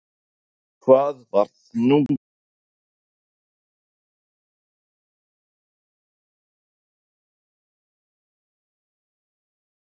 Hvað var það, nú geturðu upplýst okkur, hvað var það sem svona sveið mest?